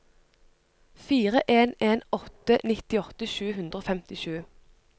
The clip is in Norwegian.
fire en en åtte nittiåtte sju hundre og femtisju